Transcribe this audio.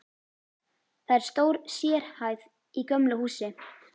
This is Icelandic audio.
Það er stór sérhæð í gömlu húsi.